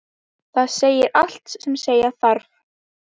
Það segir allt sem segja þarf.